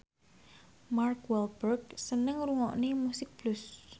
Mark Walberg seneng ngrungokne musik blues